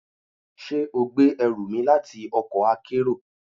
Ṣe o gbe ẹru mi lati ọkọ akero?